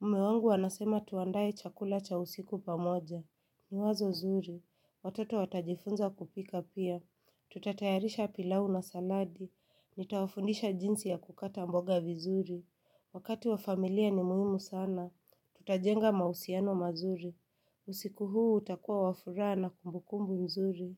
Mme wangu anasema tuandae chakula cha usiku pamoja. Ni wazo zuri. Watoto watajifunza kupika pia. Tutatayarisha pilau na saladi. Nitawafundisha jinsi ya kukata mboga vizuri. Wakati wa familia ni muhimu sana, tutajenga mahusiano mazuri. Usiku huu utakua wa furaha na kumbukumbu mzuri.